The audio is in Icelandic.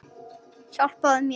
Hypjaðu þig.